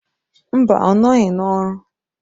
Mba! ọ nọghị n'ọrụ.